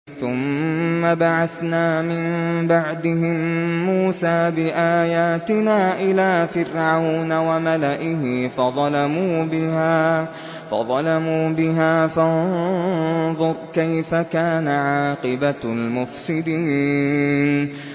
ثُمَّ بَعَثْنَا مِن بَعْدِهِم مُّوسَىٰ بِآيَاتِنَا إِلَىٰ فِرْعَوْنَ وَمَلَئِهِ فَظَلَمُوا بِهَا ۖ فَانظُرْ كَيْفَ كَانَ عَاقِبَةُ الْمُفْسِدِينَ